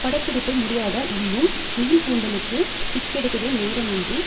படப்பிடிப்பு முடியாதால் இன்னும் நீள்கூந்தலுக்கு சிக்கெடுக்கவே நேரமின்றி